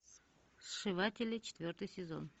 сшиватели четвертый сезон